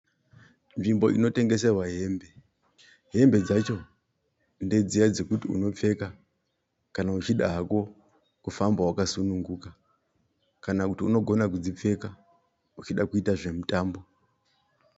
Nzvimbo inotengeserwa hembe. Hembe dzacho ndedziya dzekuti unopfeka kana uchida hako kufamba wakasununguka. Kana kuti unogona kudzipfeka uchida kuita zvemutambo.